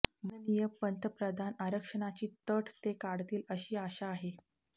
माननीय पंतप्रधान आरक्षणाची अट ते काढतील अशी आशा आहे